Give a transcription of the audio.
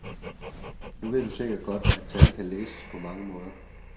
Nu ved du sikkert godt, at tal kan læses på mange måder.